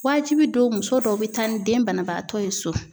Waajibi don, muso dɔw bɛ taa ni den banabaatɔ ye so.